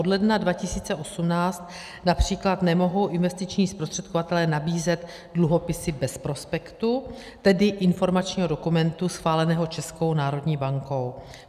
Od ledna 2018 například nemohou investiční zprostředkovatelé nabízet dluhopisy bez prospektu, tedy informačního dokumentu schváleného Českou národní bankou.